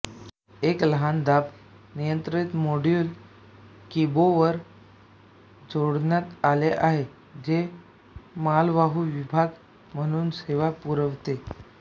एक लहान दाब नियंत्रित मोड्यूल किबोवर जोडण्यात आले आहे जे मालवाहू विभाग म्हणून सेवा पुरवते